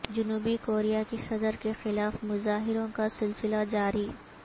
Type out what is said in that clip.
جنوبی کوریا کی صدر کے خلاف مظاہروں کا سلسلہ جاری